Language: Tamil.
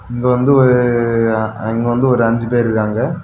இங்க வந்து ஒரு இங்க வந்து ஒரு அஞ்சு பேரு இருக்காங்க.